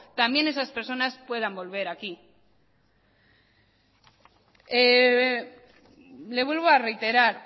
también esas personas puedan volver aquí le vuelvo a reiterar